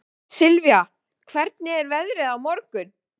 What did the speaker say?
Sylvía, hvernig er veðrið á morgun?